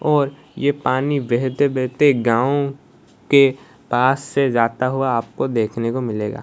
और ये पानी बेहते बेहते गांव के पास से जाता हुआ आपको देखने को मिलेगा।